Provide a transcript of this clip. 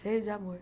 Cheio de amor.